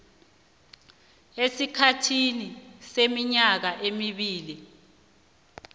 esikhathini seminyaka emibili